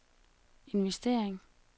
investering